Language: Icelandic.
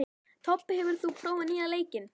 Tobbi, hefur þú prófað nýja leikinn?